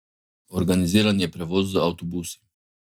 Organiziran je prevoz z avtobusi.